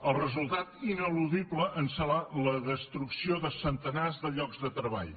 el resultat ineludible serà la destrucció de centenars de llocs de treball